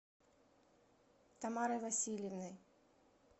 тамарой васильевной